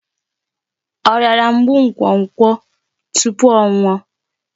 Ọ rịara mgbu nkwokwo tupu ọ nwụọ?